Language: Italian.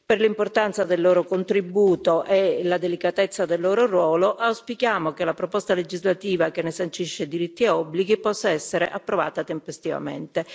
Per l'importanza del loro contributo e la delicatezza del loro ruolo, auspichiamo che la proposta legislativa che ne sancisce diritti e obblighi possa essere approvata tempestivamente.